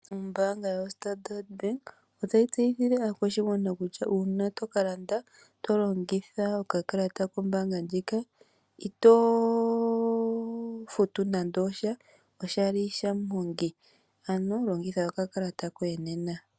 Ombanga yo Standard Bank otayi tseyithile aakwashigwana kutya, uuna toka landa tolongitha oka kalata kombanga ndjika, ito futu nando osha, oshali sha muhongi, ano longitha oka kalata koye nena.